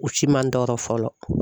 U si ma tɔɔrɔ fɔlɔ.